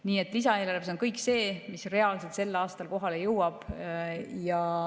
Nii et lisaeelarves on kõik see, mis reaalselt sel aastal kohale jõuab.